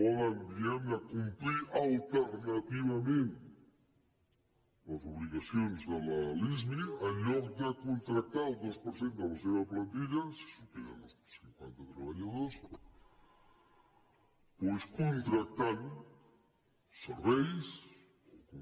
po·den diguem·ne complir alternativament les obligaci·ons de la lismi en lloc de contractar el dos per cent de la seva plantilla si superen els cinquanta treballadors doncs contractant serveis o